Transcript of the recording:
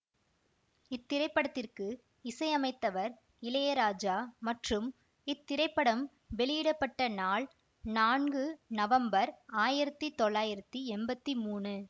இத்திரைப்படத்திற்கு இசையமைத்தவர் இளையராஜா மற்றும் இத்திரைப்படம் வெளியிட பட்ட நாள் நான்கு நவம்பர் ஆயிரத்தி தொள்ளாயிரத்தி எம்பத்தி மூனு